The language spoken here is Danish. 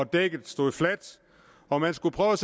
dækket stod fladt og man skulle prøve